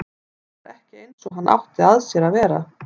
Hann var ekki eins og hann átti að sér að vera.